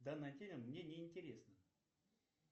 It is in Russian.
данная тема мне не интересна